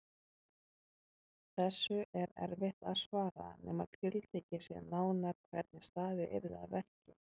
Þessu er erfitt að svara nema tiltekið sé nánar hvernig staðið yrði að verki.